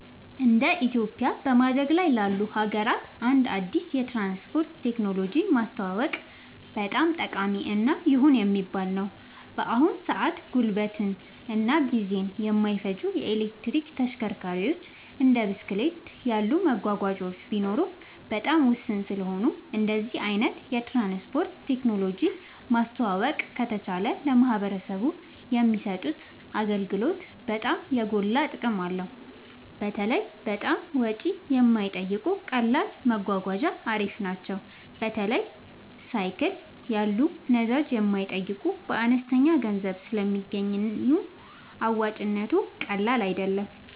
እንደ ኢትዮጵያ በማደግ ላይ ላሉ ሀገራት አንድ አዲስ የትራንስፖርት ቴክኖሎጂ ማስተዋወቅ በጣም ጠቃሚ እና ይሁን የሚባል ነገር ነው። በአሁን ሰአት ጉልበትን እና ጊዜን የማይፈጁ የኤሌክትሪክ ተሽከርካሪዎች እንደ ብስክሌት ያሉ መጓጓዣዎች ቢኖሩም በጣም ውስን ስለሆኑ እንደዚህ አይነት የትራንስፖርት ቴክኖሎጂ ማስተዋወቅ ከተቻለ ለማህበረሰቡ የሚሰጡት አገልግሎት በጣም የጎላ ጥቅም አለው። በተለይ በጣም ወጪ የማይጠይቁ ቀላል መጓጓዣ አሪፍ ናቸው። በተለይ ሳይክል ያሉ ነዳጅ የማይጠይቁ በአነስተኛ ገንዘብ ስለሚገኙ አዋጭነቱ ቀላል አይደለም